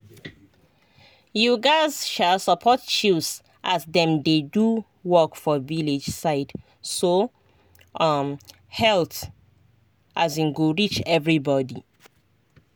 you gatz um support chws as dem dey do work for village side so um health um go reach everybody.